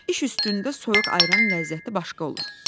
İş üstündə soyuq ayran ləzzəti başqa olur.